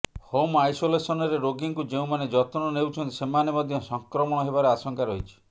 home ଆଇସୋଲେସନରେ ରୋଗୀଙ୍କୁ ଯେଉଁମାନେ ଯତ୍ନ ନେଉଛନ୍ତି ସେମାନେ ମଧ୍ୟ ସଂକ୍ରମଣ ହେବାର ଆଶଙ୍କା ରହିଛି